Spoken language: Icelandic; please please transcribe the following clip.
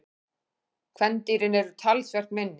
Kvendýrin eru talsvert minni.